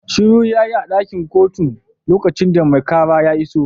Shiru yayi a dakin kotun lokacin da mai kara ya iso